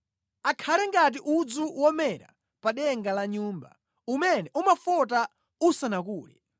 Akhale ngati udzu womera pa denga la nyumba, umene umafota usanakule;